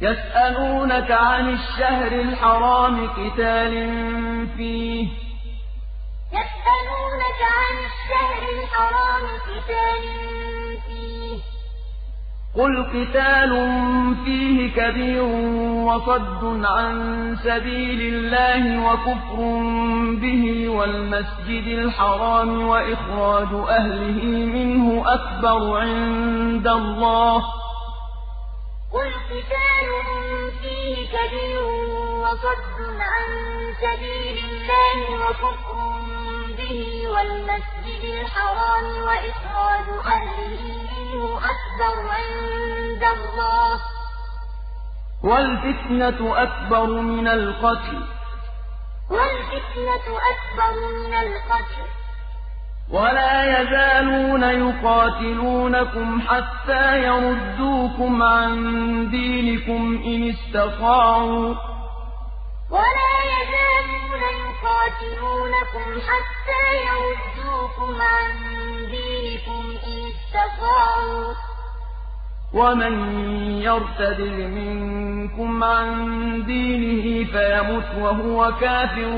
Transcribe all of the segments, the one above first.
يَسْأَلُونَكَ عَنِ الشَّهْرِ الْحَرَامِ قِتَالٍ فِيهِ ۖ قُلْ قِتَالٌ فِيهِ كَبِيرٌ ۖ وَصَدٌّ عَن سَبِيلِ اللَّهِ وَكُفْرٌ بِهِ وَالْمَسْجِدِ الْحَرَامِ وَإِخْرَاجُ أَهْلِهِ مِنْهُ أَكْبَرُ عِندَ اللَّهِ ۚ وَالْفِتْنَةُ أَكْبَرُ مِنَ الْقَتْلِ ۗ وَلَا يَزَالُونَ يُقَاتِلُونَكُمْ حَتَّىٰ يَرُدُّوكُمْ عَن دِينِكُمْ إِنِ اسْتَطَاعُوا ۚ وَمَن يَرْتَدِدْ مِنكُمْ عَن دِينِهِ فَيَمُتْ وَهُوَ كَافِرٌ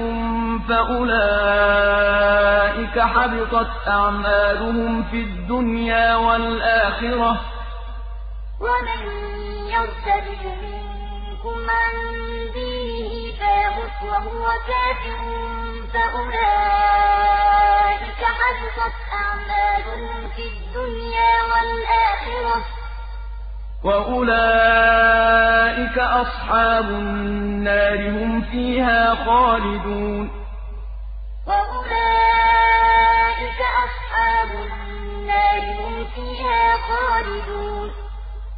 فَأُولَٰئِكَ حَبِطَتْ أَعْمَالُهُمْ فِي الدُّنْيَا وَالْآخِرَةِ ۖ وَأُولَٰئِكَ أَصْحَابُ النَّارِ ۖ هُمْ فِيهَا خَالِدُونَ يَسْأَلُونَكَ عَنِ الشَّهْرِ الْحَرَامِ قِتَالٍ فِيهِ ۖ قُلْ قِتَالٌ فِيهِ كَبِيرٌ ۖ وَصَدٌّ عَن سَبِيلِ اللَّهِ وَكُفْرٌ بِهِ وَالْمَسْجِدِ الْحَرَامِ وَإِخْرَاجُ أَهْلِهِ مِنْهُ أَكْبَرُ عِندَ اللَّهِ ۚ وَالْفِتْنَةُ أَكْبَرُ مِنَ الْقَتْلِ ۗ وَلَا يَزَالُونَ يُقَاتِلُونَكُمْ حَتَّىٰ يَرُدُّوكُمْ عَن دِينِكُمْ إِنِ اسْتَطَاعُوا ۚ وَمَن يَرْتَدِدْ مِنكُمْ عَن دِينِهِ فَيَمُتْ وَهُوَ كَافِرٌ فَأُولَٰئِكَ حَبِطَتْ أَعْمَالُهُمْ فِي الدُّنْيَا وَالْآخِرَةِ ۖ وَأُولَٰئِكَ أَصْحَابُ النَّارِ ۖ هُمْ فِيهَا خَالِدُونَ